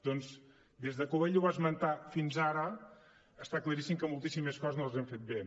doncs des de que ell ho va esmentar fins ara està claríssim que moltíssimes coses no les hem fet bé